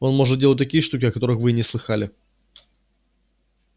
он может делать такие штуки о которых вы и не слыхалали